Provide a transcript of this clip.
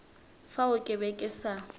fao ke be ke sa